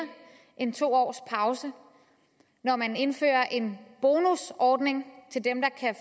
end to års pause når man indfører en bonusordning til dem der kan